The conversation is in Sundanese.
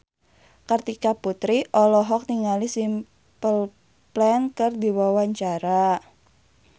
Kartika Putri olohok ningali Simple Plan keur diwawancara